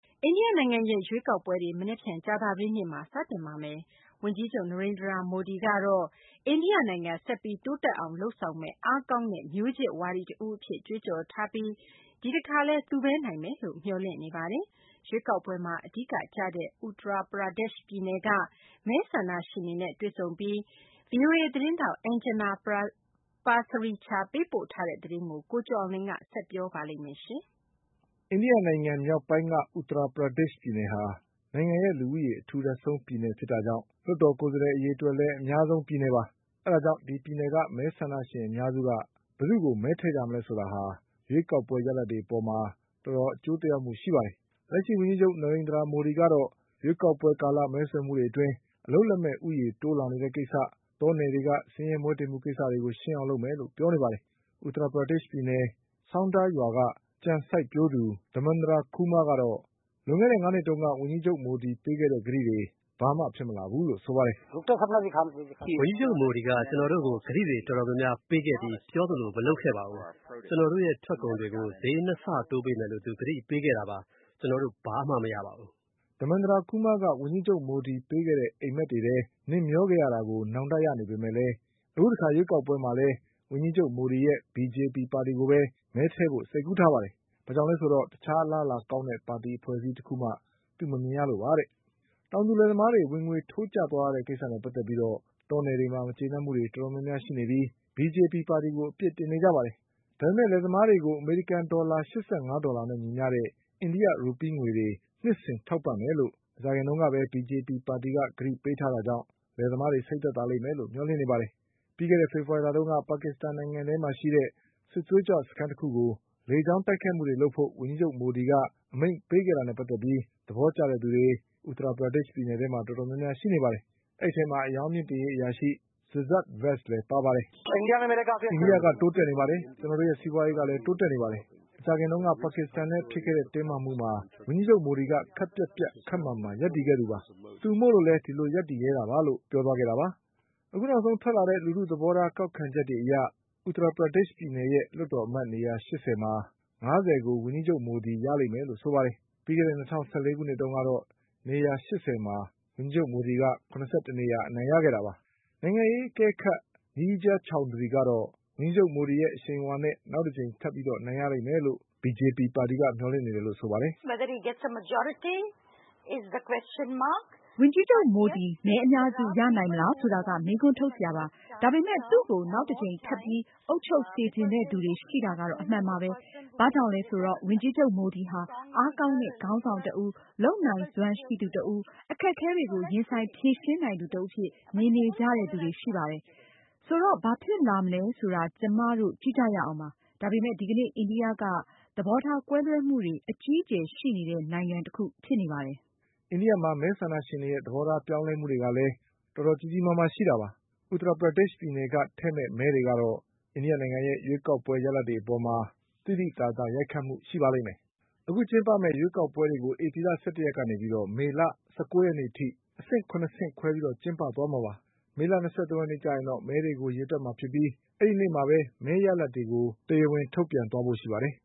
အိန္ဒိယနိုင်ငံရဲ့ရွေးကောက်ပွဲတွေ မနက်ဖြန် ကြာသပတေးနေ့မှာ စတင်ပါတော့မယ်။ ဝန်ကြီးချုပ် Narendra Modi က တော့ အိန္ဒိယနိုင်ငံဆက်ပြီး တိုးတက်အောင် လုပ်ဆောင်မယ့် အားကောင်းတဲ့ မျိုးချစ်ဝါဒီတဦးအဖြစ် ကြွေးကြော် ထားပြီး ဒီတခါလည်း သူပဲနိုင်မယ် လို့မျှော်လင့်နေပါတယ်။ ရွေးကောက်ပွဲမှာအဓိကကျတဲ့ Uttar Pradesh ပြည်နယ်က မဲဆန္ဒရှင် တွေနဲ့တွေ့ဆုံပြီး ဗီအိုအေသတင်းထောက် Anjana Pasricha ပေးပို့ထားတဲ့သတင်းကို ကိုကျော်အောင်လွင် ဆက်ပြော ပါလိမ့်မယ်။ အိန္ဒိယနိုင်ငံမြောက်ပိုင်းက Uttar Pradeshပြည်နယ်ဟာ နိုင်ငံရဲ့လူဦးရေ အထူထပ်ဆုံးပြည်နယ်ဖြစ်တာကြောင့် လွှတ် တော်ကိုယ်စားလှယ် အရေအတွက်လည်း အများဆုံးပြည်နယ်ပါ။ အဲဒါကြောင့် ဒီပြည်နယ်က မဲဆန္ဒရှင်အများစုက ဘယ်သူ့ကို မဲထည့်မလဲ ဆိုတာက ရွေးကောက်ပွဲရလာဒ်တွေအပေါ်မှာ တော်တော်အကျိုးသက်ရောက်မှုရှိတာပါ။ လက်ရှိဝန်ကြီးချုပ် Narendra Modi ကတော့ ရွေးကောက်ပွဲကာလ မဲဆွယ်မှုတွေအတွင်း အလုပ်လက်မဲ့ ဦးရေးတိုးလာနေတဲ့ကိစ္စ၊ တော နယ်တွေက ဆင်းရဲမွဲတေမှုကိစ္စတွေကို ရှင်းအောင်လုပ်မယ်လို့ ပြောနေပါတယ်။ Uttar Pradeshပြည်နယ် Saunda ရွာက ကြံစိုက်ပျိုးသူ Dharmendra Kumar ကတော့ လွန်ခဲ့တဲ့ ငါးနှစ်တုန်းက ဝန်ကြီး ချုပ်မိုဒီ ပေးထားခဲ့တဲ့ကတိတွေ ဘာမှဖြစ်မလာဘူးလို့ဆိုပါတယ်။ “ဝန်ကြီးချုပ်မိုဒီက ကျနော်တို့ကို ကတိတွေတော်တော်များများပေးခဲ့ပြီး ပြောသလိုမလုပ်ခဲ့ပါဘူး။ ကျနော်တို့ရဲ့ထွက်ကုန် တွေကို ဈေး၂ဆတိုးပေးမယ်လို့သူကတိပေးခဲ့တာပါ။ ကျနော်တို့ ဘာမှမရပါဘူး” Dharmendra Kumar က ဝန်ကြီးချုပ်မိုဒီပေးတဲ့ အိမ်မက်တွေထဲ နှစ်မျောခဲ့ရတာကို နောင်တရနေပေမဲ့လည်း အခုတခါ ရွေးကောက်ပွဲမှာလည်း ဝန်ကြီးချုပ်မိုဒီရဲ့ BJP ပါတီကိုပဲ မဲထည့်ဖို့ စိတ်ကူးထားပါတယ်။ ဘာကြောင့်လည်းဆိုတော့ တခြားအလားအလာကောင်းတဲ့ ပါတီအဖွဲ့အစည်း တခုမှ သူမမြင်ရလို့ပါတဲ့။ တောင်သူလယ်သမားတွေ ဝင်ငွေထိုးကျသွားရတဲ့ကိစ္စနဲ့ပတ်သက်ပြီး တောနယ်တွေမှာမကျေနပ်မှုတွေတော်တော် များ များရှိနေပြီး BJP ပါတီကို အပြစ်တင်နေကြတာပါ။ ဒါပေမဲ့ လယ်သမားတွေကို အမေရိကန်ဒေါ်လာ ၈၅ဒေါ် လာနဲ့ ညီမျှ တဲ့ အိန္ဒိယ ရူပီးငွေတွေ နှစ်စဉ်ထောက်ပံ့မယ်လို့ မကြာခင်ကပဲ BJP ပါတီက ကတိပေးထားတာကြောင့် လယ်သမား တွေ စိတ်သက်သာလိမ့်မယ်လို့ မျှော်လင့်နေပါတယ်။ ပြီးခဲ့တဲ့ဖေဖေါ်ဝါရီလတုန်းက ပါကစ္စတန် နိုင်ငံထဲမှာ ရှိတဲ့ စစ်သွေးကြွစခန်း တခုကို လေကြောင်းတိုက်ခိုက်မှုတွေလုပ်ဖို့ ဝန်ကြီးချုပ်မိုဒီက အမိန့်ပေးခဲ့တာနဲ့ ပတ်သက်ပြီး သဘောကျတဲ့သူ တွေ Uttar Pradesh ပြည်နယ်ထဲမှာတော်တော်များများရှိနေပါတယ်။ အဲဒီအထဲမှာ အရောင်းမြှင့်တင်ရေးအရာရှိ Siddsart Vats လည်းပါပါတယ်။ “အိန္ဒိယက တိုးတက်နေပါတယ်။ ကျနော်တို့ရဲ့ စီးပွားရေးကလည်း တိုးတက်နေပါတယ်။ မကြာခင်တုန်းကပါကစ္စတန်နဲ့ဖြစ် ခဲ့တဲ့ တင်းမာမှုမှာ ဝန်ကြီးချုပ်မိုဒီက ခပ်ပြတ်ပြတ် ခပ်မာမာရပ်တည်ခဲ့တာပါ။ သူမို့လို့ဒီလိုရပ်တည်ရဲတာပါ” နောက်ဆုံးထွက်လာတဲ့ လူထုသဘောထားကောက်ခံချက်တွေအရ Uttar Pradeshပြည်နယ်ရဲ့ လွှတ်တော်အမတ်နေရာ ရှစ်ဆယ်မှာ ငါးဆယ်ကို ဝန်ကြီးချုပ်မိုဒီရလိမ့်မယ်လို့ဆိုပါတယ်။ ပြီးခဲ့တဲ့ ၂၀၁၄ခုနှစ်တုန်းကတော့ နေရာ ၈၀ မှာ ဝန်ကြီးချုပ်မိုဒီက ၇၁နေရာ အနိုင်ရခဲ့တာပါ။ နိုင်ငံရေးအကဲခတ် Neerja Chowdhury ကတော့ ဝန်ကြီးချုပ်မိုဒီရဲ့အရှိန်အဝါနဲ့ နောက်တကြိမ် ထပ်ပြီးအနိုင်ရလိမ့်မယ်လို့ BJP ပါတီကမျှော်လင့်နေတယ်လို့ဆိုပါတယ်။ “ဝန်ကြီးချုပ်မိုဒီ မဲအများစုရနိုင်မလားဆိုတာက မေးခွန်းထုတ်စရာပါ။ ဒါပေမဲ့ သူ့ကို နောက်တကြိမ်ထပ်ပြီး အုပ်ချုပ်စေချင် တဲ့သူတွေရှိတာကတော့ အမှန်ပါပဲ။ ဘာကြောင့်လဲဆိုတော့ ဝန်ကြီးချုပ် မိုဒီဟာ အားကောင်းတဲ့ ခေါင်းဆောင်တဦး၊ လုပ် ဆောင်နိုင်စွမ်းရှိသူတဦး၊ အခက်အခဲတွေကို ရင်ဆိုင်ဖြေရှင်းနိုင်သူတဦးအဖြစ် မြင်နေကြတဲ့သူတွေရှိပါတယ်။ ဆိုတော့ ဘာဖြစ်လာမလဲဆိုတာ ကျမတို့ကြည့်ကြရအောင်ပါ။ ဒါပေမဲ့ ဒီကနေ့ အိန္ဒိယက သဘောထား ကွဲလွဲမှုတွေအကြီး အကျယ်ရှိနေတဲ့ နိုင်ငံတခုဖြစ်နေပါတယ်” မဲဆန္ဒရှင်တွေရဲ့ သဘောထားပြောင်းလဲမှုတွေကလည်း တော်တော်ကြီးကြီးမားမားရှိတာပါ။ Uttar Pradesh ပြည်နယ်က ထည့်မဲ့မဲတွေကတော့ အိန္ဒိယရဲ့ရွေးကောက်ပွဲရလဒ်တွေအပေါ် သိသိသာသာ ရိုက်ခတ်မှုရှိပါလိမ့်မယ်။ အခုကျင်းပမယ့် ရွေးကောက်ပွဲတွေကို ဧပြီလ ၁၁ရက်ကနေ မေလ ၁၉ရက်နေ့ အထိ အဆင့် ၇ဆင့်ခွဲပြီး ကျင်းပသွားမှာပါ။ မေလ ၂၃ရက် နေ့ကျရင်တော့ မဲတွေကိုရေတွက်မှာဖြစ်ပြီး အဲဒီနေ့မှာပဲ မဲရလဒ်တွေကို တရားဝင်ထုတ်ပြန်သွားဖို့ရှိပါတယ်